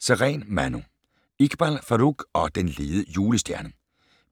Sareen, Manu: Iqbal Farooq og den lede julestjerne